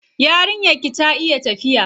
Yarinyar ki ta iya tafiya?